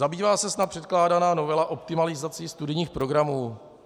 - Zabývá se snad předkládaná novela optimalizací studijních programů?